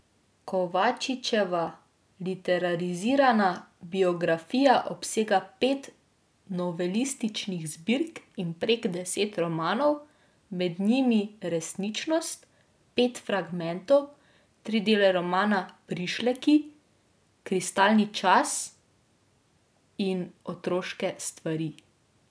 Kovačičeva literarizirana biografija obsega pet novelističnih zbirk in prek deset romanov, med njimi Resničnost, Pet fragmentov, tri dele romana Prišleki, Kristalni čas in Otroške stvari.